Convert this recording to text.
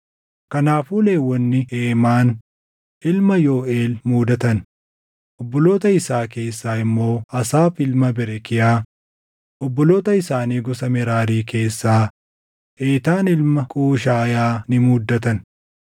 Kanaafuu Lewwonni Heemaan ilma Yooʼeel muudatan; obboloota isaa keessaa immoo Asaaf ilma Berekiyaa, obboloota isaanii gosa Meraarii keessaa Eetaan ilma Qushaayaa ni muuddatan;